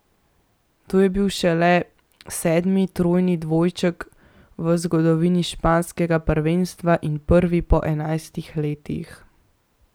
To je bil šele sedmi trojni dvojček v zgodovini španskega prvenstva in prvi po enajstih letih.